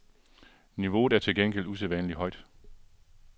Niveauet er til gengæld usædvanlig højt.